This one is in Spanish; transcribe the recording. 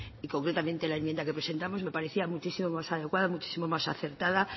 y concretamente la enmienda que presentamos me parecía muchísima más adecuada muchísimo más acertada